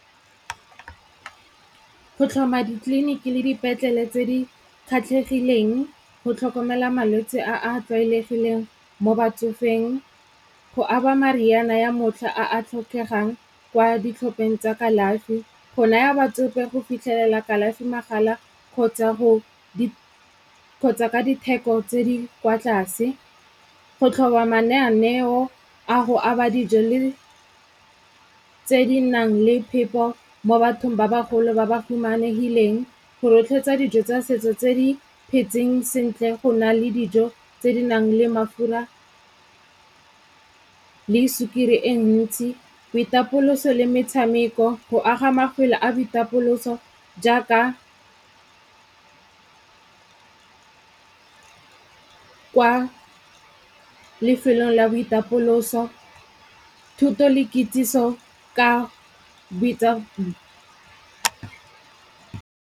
Go tlhoma ditleliniki le dipetlele tse di kgatlhegileng, go tlhokomela malwetse a a tlwaelegileng mo batsofeng, go aba mariana ya motlha a a tlhokegang kwa ditlhopheng tsa kalafi, go naya batsofe go fitlhelela kalafi magala kgotsa ka ditheko tse di kwa tlase, go tlhoba mananeo a go aba dijo le tse di nang le phepo mo bathong ba bagolo ba ba humanegileng, go rotloetsa dijo tsa setso tse di phetseng sentle go na le dijo tse di nang le mafura le sukiri e ntsi, boitapoloso le metshameko, go aga mafelo a boitapoloso jaaka kwa lefelong la boitapoloso, thuto le kitsiso ka .